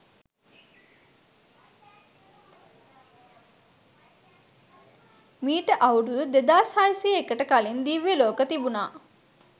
මීට අවුරුදු 2601 ට කලින් දිව්‍ය ලෝක තිබුණා.